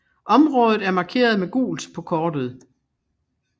Området er markeret med gult på kortet